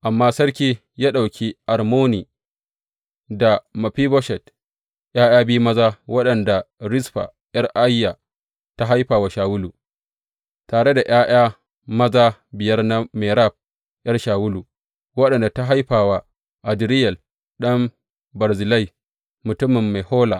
Amma sarki ya ɗauki Armoni da Mefiboshet, ’ya’ya biyu maza waɗanda Rizfa ’yar Aiya ta haifa wa Shawulu, tare da ’ya’ya maza biyar na Merab ’yar Shawulu, waɗanda ta haifa wa Adriyel ɗan Barzillai, mutumin Mehola.